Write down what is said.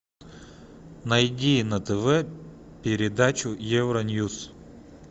найди на тв передачу евроньюс